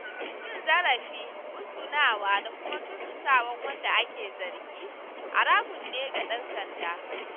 Cin zarafi, musgunawa da kuma tursasawa wanda ake zargi, haramun ne ga ɗan sanda.